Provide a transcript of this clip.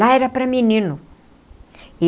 Lá era para menino.